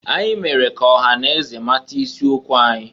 Anyị mere ka ọha na eze mata isi okwu anyị.